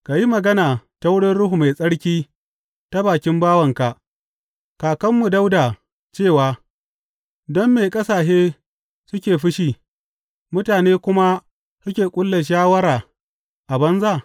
Ka yi magana ta wurin Ruhu Mai Tsarki ta bakin bawanka, kakanmu Dawuda cewa, Don me ƙasashe suke fushi, mutane kuma suke ƙulla shawara a banza?